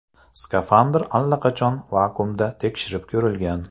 Skafandr allaqachon vakuumda tekshirib ko‘rilgan.